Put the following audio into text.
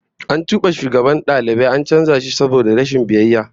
An tube shugaban dalibai an canza shi saboda rashin biyayya